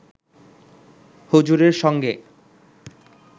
হুজুরের সঙ্গে